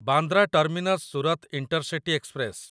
Bandra terminus Surat intercity express